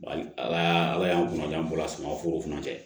Ala ala y'an kunnaja an bɔra samaforo fana tɛ